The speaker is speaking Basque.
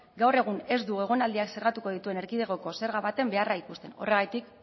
gaur egun ez dugu egonaldiak zerratuko dituen erkidegoko zerga baten beharra ikusten horregatik